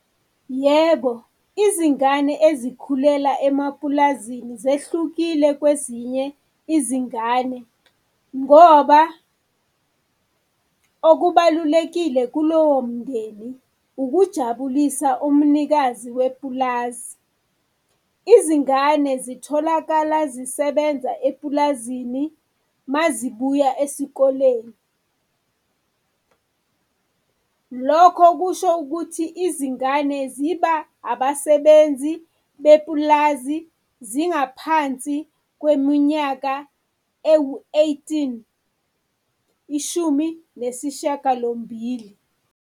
Yebo, izingane ezikhulela emapulazini zehlukile kwezinye izingane ngoba okubalulekile kulowomndeni ukujabulisa umnikazi wepulazi. Izingane zitholakala zisebenza epulazini mazibuya esikoleni. Lokho kusho ukuthi izingane ziba abasebenzi bepulazi zingaphansi kweminyaka ewu-eighteen, ishumi nesishiyagalombili.